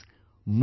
Friends,